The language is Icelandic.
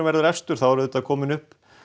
verður efstur þá er auðvitað komin upp